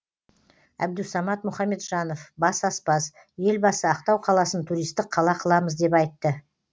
әбдусамат мұхамеджанов бас аспаз елбасы ақтау қаласын туристік қала қыламыз деп айтты